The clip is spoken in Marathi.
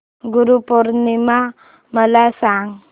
गुरु पौर्णिमा मला सांग